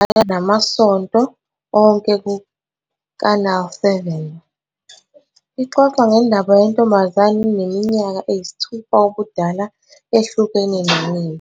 Namasonto onke kuKanal. Ixoxa ngendaba yentombazane eneminyaka eyisithupha ubudala ehlukene nonina.